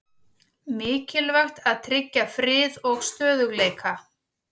Mikilvægt að tryggja frið og stöðugleika